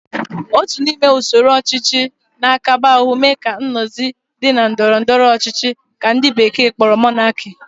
Otu n'ime usoro ochichi n'akaba ahu mee ka nnozi di na ndoro doro ọchichi ka ndi bekee kporo Monarchy